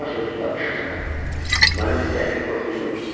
"Buna sözlü danışırsan, mənim istəkli Korkuzum?"